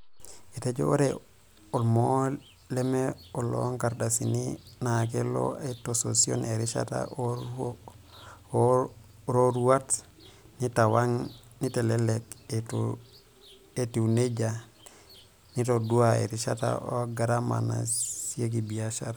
Etejo ore olmoo leme oloonkardasini naakelo aitasosion erishata o roruat, neitawang' neitelelek etiu nejia neitadou erishata o garama nasieki biashara.